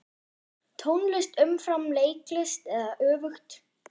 Tónlist umfram leiklist eða öfugt?